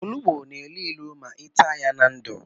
Ọnụgbu na élú ịlụ ma i taa ya na ndụ.